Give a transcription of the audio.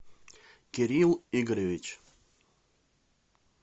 кирилл игоревич